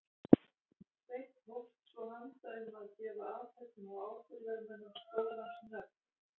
Sveinn hófst svo handa um að gefa athöfnum og ábyrgðarmönnum skólans nöfn.